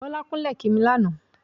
Bọ́lá kúnlẹ̀ kí mi lánàá.